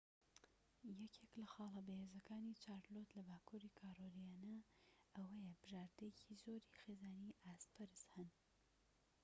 یەکێك لە خاڵە بەهێزەکانی چارلۆت لە باكووری کارۆلاینا ئەوەیە بژاردەیەکی زۆری خێزانی ئاست بەرز هەن